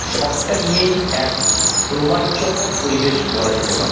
সবটা নিয়েই এক রোমাঞ্চকর পরিবেশ বলা যেতে পারে।